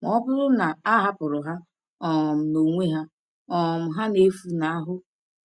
Ma ọ bụrụ na a hapụrụ ha um n’onwe ha, um ha na-efunahụ